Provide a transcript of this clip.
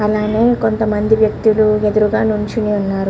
అలానే కొంత మంది వ్యక్తులు ఎదురుగ నుంచొని ఉన్నారు.